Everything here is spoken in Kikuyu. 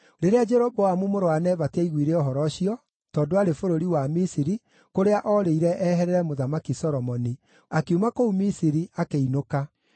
Rĩrĩa Jeroboamu mũrũ wa Nebati aaiguire ũhoro ũcio (tondũ aarĩ bũrũri wa Misiri, kũrĩa oorĩire eherere Mũthamaki Solomoni), akiuma kũu Misiri, akĩinũka.